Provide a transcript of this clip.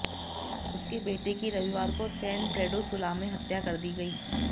उसके बेटे की रविवार को सैन प्रेडो सुला में हत्या कर दी गई